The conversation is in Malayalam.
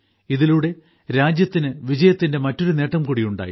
ഇതിലൂടെ രാജ്യത്തിന് വിജയത്തിന്റെ മറ്റൊരു നേട്ടംകൂടി ഉണ്ടായി